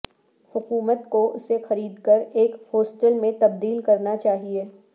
حکومت کو اسے خرید کر ایک ہاسٹل میں تبدیل کرنا چاہئے